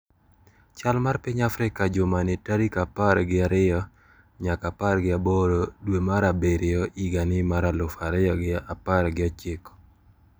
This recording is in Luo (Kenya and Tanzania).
Chal mar piny Afrika jumani tarik apar gi ariyo nyaka apar gi aboro dwe mar abiriyo higa mar aluf ariyo gi apar gi ochiko.